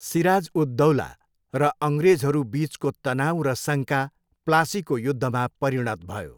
सिराज उद दौला र अङ्ग्रेजहरूबिचको तनाउ र शङ्का प्लासीको युद्धमा परिणत भयो।